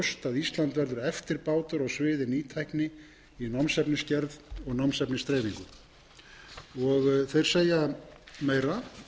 ísland verður eftirbátur svið nýtækni í námsefnisgerð og námsefnisdreifingu þeir segja meira